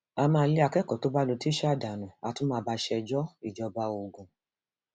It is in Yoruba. a máa lé akẹkọọ tó bá lu tíṣà dànù á tún máa bá a ṣẹjọ ìjọba ogun